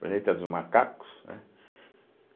Planeta dos Macacos, né?